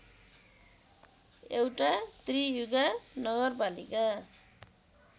एउटा त्रियुगा नगरपालिका